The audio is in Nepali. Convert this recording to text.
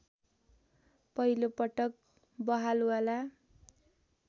पहिलो पटक बहालवाला